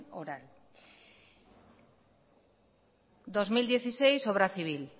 oral dos mil dieciséis obra civil